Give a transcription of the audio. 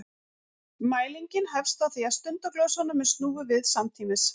Mælingin hefst á því að stundaglösunum er snúið við samtímis.